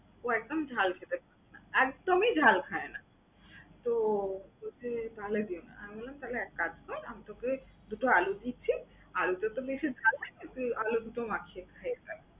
ও একদম ঝাল খেতে পারবে না, একদমই ঝাল খায় না। তো ওকে ফালায় দিও না, আমি বললাম তাহলে এক কাজ কর। আমি তোকে দুইটা আলু দিচ্ছি, আলুটাতো বেশি ঝাল লাগবে না, তুই আলু দুটো মাখিয়ে খেয়ে ফেল।